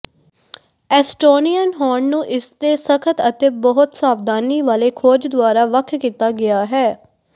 Estonian hound ਨੂੰ ਇਸਦੇ ਸਖ਼ਤ ਅਤੇ ਬਹੁਤ ਸਾਵਧਾਨੀ ਵਾਲੇ ਖੋਜ ਦੁਆਰਾ ਵੱਖ ਕੀਤਾ ਗਿਆ ਹੈ